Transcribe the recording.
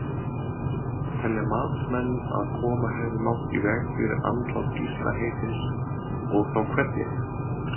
Telja matsmenn að koma hefði mátt í veg fyrir andlát Gísla heitins og þá hvernig?